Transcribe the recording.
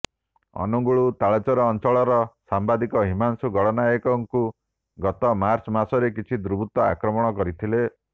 ଅନୁଗୁଳ ତାଳଚେର ଅଞ୍ଚଳର ସାମ୍ବାଦିକ ହିମାଂଶୁ ଗଡନାୟକଙ୍କୁ ଗତ ମାର୍ଚ୍ଚ ମାସରେ କିଛି ଦୁର୍ବୃତ୍ତ ଆକ୍ରମଣ କରିଥିଲେ